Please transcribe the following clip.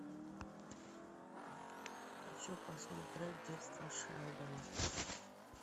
хочу посмотреть детство шелдона